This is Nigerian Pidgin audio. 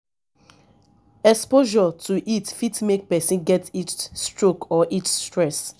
exposure to heat fit make person get heat stroke or heat stress